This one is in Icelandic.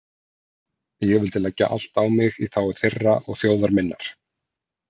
Ég vildi leggja allt á mig í þágu þeirra og þjóðar minnar.